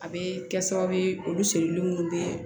A bɛ kɛ sababu ye olu seli minnu bɛ